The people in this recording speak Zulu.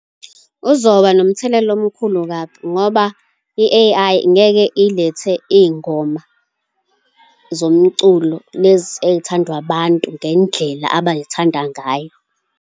Uzoba nomthelela omkhulu kabi, ngoba i-A_I ngeke ilethe iy'ngoma zomculo lezi ey'thandwa abantu, ngendlela abay'thanda ngayo.